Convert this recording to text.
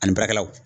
Ani baarakɛlaw